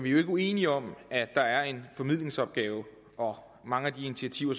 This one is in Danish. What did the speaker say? jo ikke uenige om at der er en formidlingsopgave og at mange af de initiativer